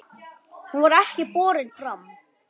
Hún var ekki borin fram.